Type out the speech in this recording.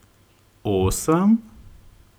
Osem?